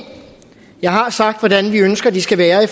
jeg har sagt hvordan vi ønsker de skal være i